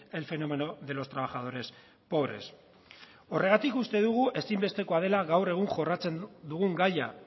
el fenómeno de los trabajadores pobres horregatik uste dugu ezinbestekoa dela gaur egun jorratzen dugun gaia